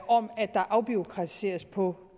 om at der afbureaukratiseres på